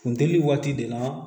Funteni waati de la